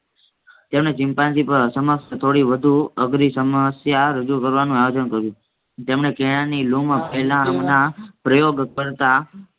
તેને ચિમ્પાન્જી ઉપર અશમસ્ત થોડી વધુ અધરી સમસ્યા રજુ કરવાનો આયોજન કર્યું. જેમને કેળાની લૂમ પેહલાંના પ્રોયોગ કરતા